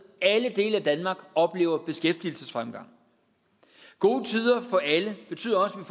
alle dele af danmark oplever beskæftigelsesfremgang gode tider for alle betyder også